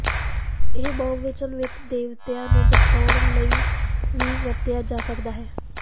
ਇਹ ਬਹੁਵਚਨ ਵਿਚ ਦੇਵਤਿਆਂ ਨੂੰ ਦਰਸਾਉਣ ਲਈ ਵੀ ਵਰਤਿਆ ਜਾ ਸਕਦਾ ਹੈ